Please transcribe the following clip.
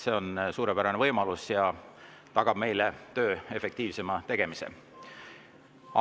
See on suurepärane võimalus ja tagab meile töö efektiivsema tegemise.